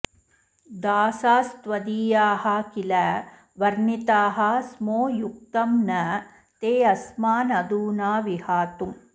दासास्त्वदीयाः किल वर्णिताः स्मो युक्तं न तेऽस्मानधुना विहातुम्